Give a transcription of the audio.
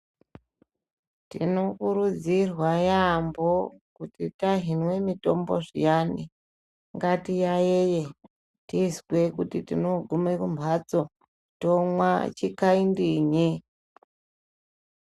Tinokurudzirwa yaambo kuti kana tahine mitombo zviane ,ngatiyayeye, tizwe kuti tinokume kumhatso tonwa chikandinye.